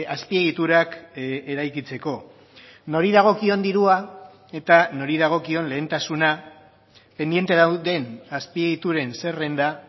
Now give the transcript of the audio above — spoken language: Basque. azpiegiturak eraikitzeko nori dagokion dirua eta nori dagokion lehentasuna pendiente dauden azpiegituren zerrenda